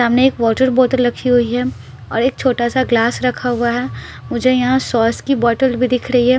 सामने एक वाटर बोतल रखी हुई है और एक छोटा सा ग्लास रखा हुआ है मुझे यहाँ सॉस की बोतल भी दिख रही है।